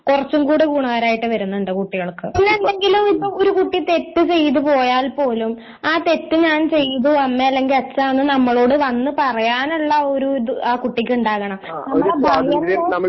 കുറച്ചും കൂടെ ഗുണകാരമായിട്ട് വരുന്നുണ്ട് കുട്ടികൾക്ക്പി ന്നെ എന്തെങ്കിലും ഒരു കുട്ടി തെറ്റ് ചെയ്തു പോയാൽ പോലും ആ തെറ്റ് ഞാൻ ചെയ്തു അമ്മേ അല്ലെങ്കില് അച്ഛാ എന്ന് നമ്മളോട് വന്നു പറയാനുള്ള ഒരു ഇത് ആ കുട്ടിക്ക് ഉണ്ടാകണം നമ്മളെ ഭയന്ന്